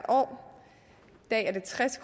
i dag tres